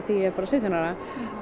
að ég er bara sautján ára